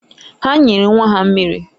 Ha nyere nwa ha mmiri.